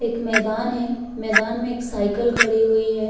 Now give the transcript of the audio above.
एक मैदान है मैदान में एक साइकिल खड़ी हुई है।